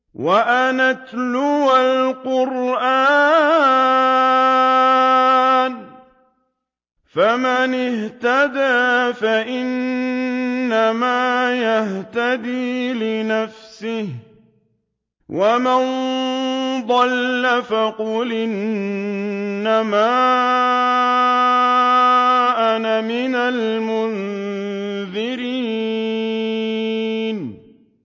وَأَنْ أَتْلُوَ الْقُرْآنَ ۖ فَمَنِ اهْتَدَىٰ فَإِنَّمَا يَهْتَدِي لِنَفْسِهِ ۖ وَمَن ضَلَّ فَقُلْ إِنَّمَا أَنَا مِنَ الْمُنذِرِينَ